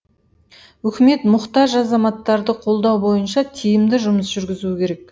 үкімет мұқтаж азаматтарды қолдау бойынша тиімді жұмыс жүргізу керек